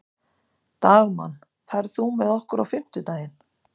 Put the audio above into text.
Dagmann, ferð þú með okkur á fimmtudaginn?